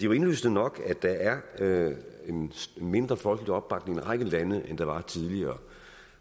jo indlysende nok at der er en mindre folkelig opbakning i en række lande end der var tidligere